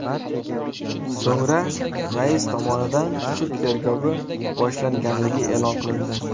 So‘ngra rais tomonidan sud tergovi boshlanganligi e’lon qilindi.